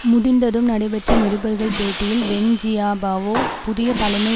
முடிந்ததும் நடைபெற்ற நிருபர்கள் பேட்டியில் வெண் ஜியாபாவோ புதிய தலைமை